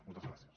moltes gràcies